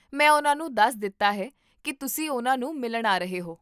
ਮੈਂ ਉਹਨਾਂ ਨੂੰ ਦੱਸ ਦਿੱਤਾ ਹੈ ਕੀ ਤੁਸੀਂ ਉਹਨਾਂ ਨੂੰ ਮਿਲਣ ਆ ਰਹੇ ਹੋ